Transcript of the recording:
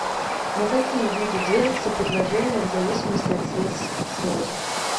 на какие виды делятся предложения в зависимости от средств связи